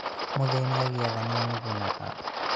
mũthĩinĩ agĩetha nĩanugunaga